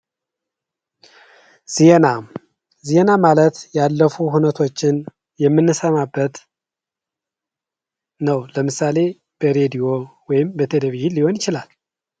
ዜና፦ ዜና ማለት ያለፉ ሁነቶችን የምንሰማበት ነው ለምሳሌ፦ በሬድዮም ወይም በቴሌቪዥን ሊሆን ይችላል።